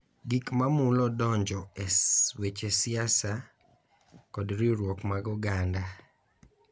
Gik mamulo donjo e weche siasa kod riwruok mar oganda